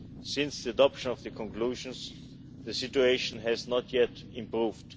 Since the adoption of the conclusions, the situation has not yet improved.